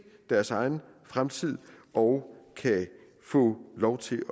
deres egen fremtid og kan få lov til